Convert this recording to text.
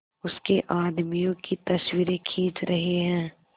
उसके आदमियों की तस्वीरें खींच रहे हैं